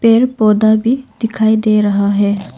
पेड़ पौधा भी दिखाई दे रहा है।